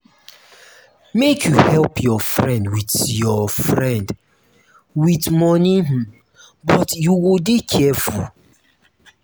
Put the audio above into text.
make you help your friend wit your friend wit moni um but you go dey careful.